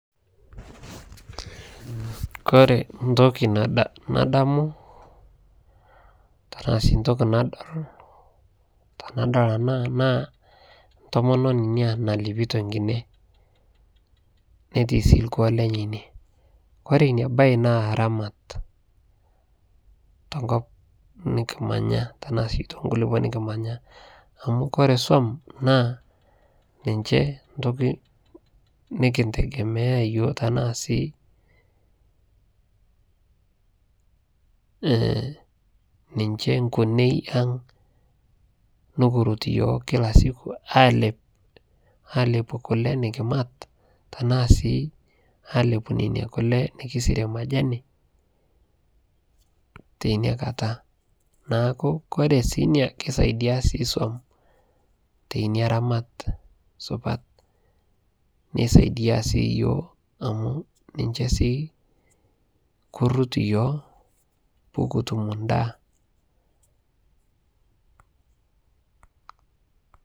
kore ntoki nadamu tanaa sii ntokii nadol tanadol anaa naa ntomononii inia nalepitoo nkinee netii sii lkuo lenyee inie kore inia bai naa ramat te nkop nikimanya tanaa sii tonkulipoo nikimanyaa amu kore som ninyee ntokii nikintegemea yooh tanaa sii ninchee nkunei aang nikirut yooh kila siku alep alepuu kulee nikimat tanaa sii alepuu nenia kulee nikisirie majanii teinia kataa naaku kore sii inia keisaidia sii som teinia ramat supat neisaidia sii yooh amu ninchee sii kurut yooh pukutum ndaa